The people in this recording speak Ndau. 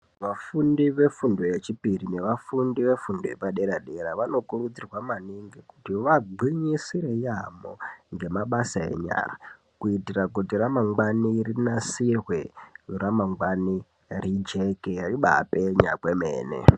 Vafundi vefundo yechipiri nevafundi vefundo yepadera-dera vanokurudzirwa maningi kuti vagwinyisire yaamho ngemabasa enyara kuitira kuti ramangwani rinasirwe, ramangwani rijeke ribapenya kwemene.